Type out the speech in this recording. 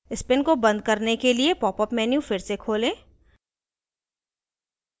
spin को बंद करने के लिए popअप menu फिर से खोलें